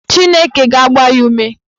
Chineke ga-agba ya ume.